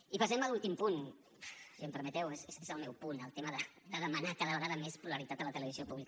i passem a l’últim punt si em permeteu és el meu punt el tema de demanar cada vegada més pluralitat a la televisió pública